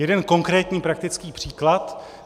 Jeden konkrétní praktický příklad.